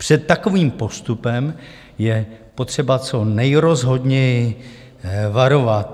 Před takovým postupem je potřeba co nejrozhodněji varovat.